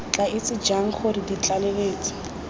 tla itse jang gore ditlaleletsi